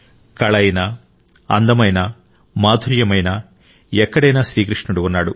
కళ అయినా అందం అయినా మాధుర్యమైనా ఎక్కడైనా శ్రీకృష్ణుడు ఉన్నాడు